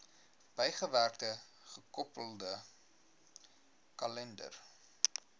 bygewerkte gekoppelde kalender